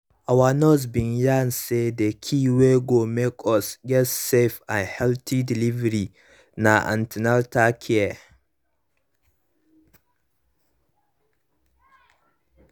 our nurse bin yarn say the key wey go make us get safe and healthy delivery na an ten atal care